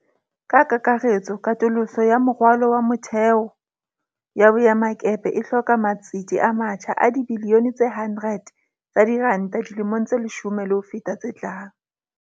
Ka kakaretso, katoloso ya moralo wa motheo ya boemakepe e hloka matsete a matjha a dibiliyone tse 100 tsa diranta dilemong tse leshome le ho feta tse tlang.